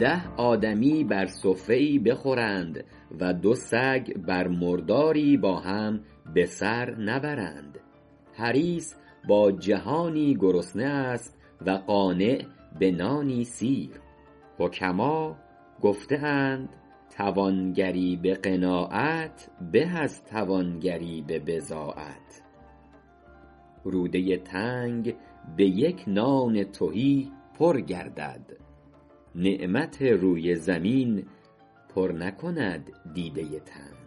ده آدمی بر سفره ای بخورند و دو سگ بر مرداری با هم به سر نبرند حریص با جهانی گرسنه است و قانع به نانی سیر حکما گفته اند توانگری به قناعت به از توانگری به بضاعت روده تنگ به یک نان تهی پر گردد نعمت روی زمین پر نکند دیده تنگ